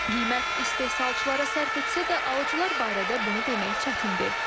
Qiymət istehsalçılara sərf etsə də, alıcılar barədə bunu demək çətindir.